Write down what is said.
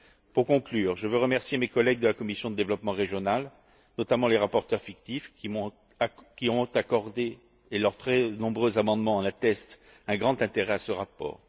Pour conclure, je tiens à remercier mes collègues de la commission du développement régional, notamment les rapporteurs fictifs, qui ont accordé et leurs très nombreux amendements en attestent un grand intérêt à ce rapport.